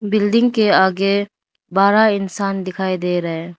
Building के आगे बारह इंसान दिखाई दे रहे।